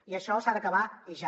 i això s’ha d’acabar i ja